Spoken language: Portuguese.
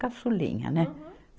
Caçulinha, né? Aham.